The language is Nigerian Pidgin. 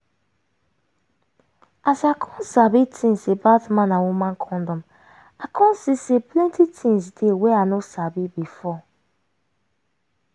as i come sabi tins about man and woman condom i come see say plenty tins dey wey i no sabi before